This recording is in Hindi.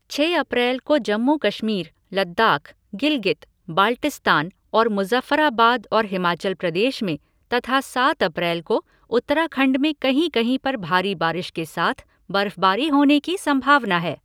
छह अप्रैल को जम्मू कश्मीर, लद्दाख, गिलगित, बाल्टिस्तान और मुज़फ़्फ़राबाद और हिमाचल प्रदेश में तथा सात अप्रैल को उत्तराखंड में कहीं कहीं पर भारी बारिश के साथ बर्फ़भाबारी होने की संभावना है।